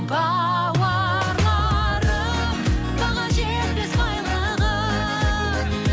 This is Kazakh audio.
бауырларым баға жетпес байлығым